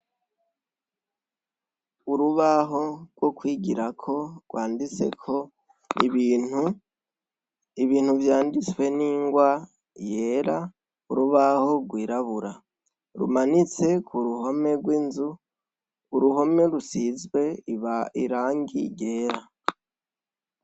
Urubaho rwo kwigirako rwanditseko ibintu vyanditswe n'ingwa yera urubaho rwirabura rumanitse ku ruhome rw'inzu, uruhome rusizwe irangi ryera.